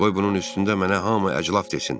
Qoy bunun üstündə mənə hamı əclaf desin.